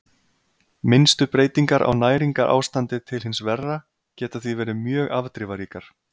Minnstu breytingar á næringarástandi til hins verra geta því verið mjög afdrifaríkar.